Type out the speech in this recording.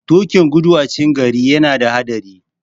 Tuƙin gudu a cikin gari yana da haɗari.